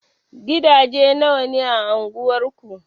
Gidaje nawa ne a anguwar ku?